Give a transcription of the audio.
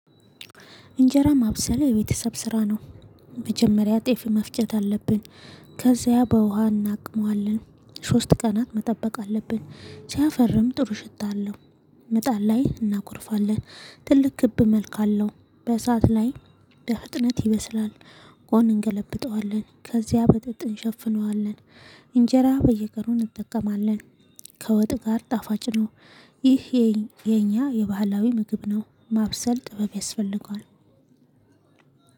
እንጀራ ማብሰል የቤተሰብ ስራ ነው። መጀመሪያ ጤፍ መፍጨት አለብን። ከዚያ በውሃ እናቅመዋለን ሶስት ቀናት መጠበቅ አለብን ሲያፈርም ጥሩ ሽታ አለው። መጣድ ላይ እናቁርፋለን ትልቅ ክብ መልክ አለሁ በሰአት ላይ በፍጥነት ይበስላል። ውሃውን እንገለብጠዋለን ከዚያ በጥጥ እንሸፍነዋለን። እንጀራ በየቀኑ እንጠቀማለን። ከወጥ ጋር ጣፋጭ ነው። ይህ የኛ የባህላዊ ምግብ ነው። ማብሰል ጥበብ ያስፈልገዋል።